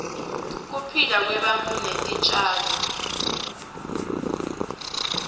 kuphila kwebantu netitjalo